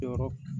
Jɔyɔrɔ